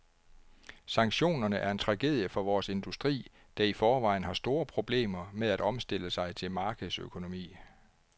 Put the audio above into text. Sanktionerne er en tragedie for vores industri, der i forvejen har store problemer med at omstille sig til markedsøkonomi.